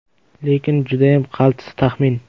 Lekin judayam qaltis taxmin.